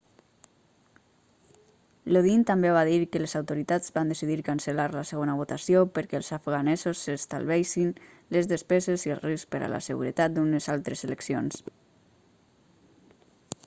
lodin també va dir que les autoritats van decidir cancel·lar la segona votació perquè els afganesos s'estalviessin les despeses i el risc per a la seguretat d'unes altres eleccions